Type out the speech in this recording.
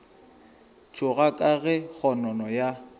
tšhoga ka ge kgonono ya